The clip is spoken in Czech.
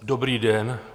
Dobrý den.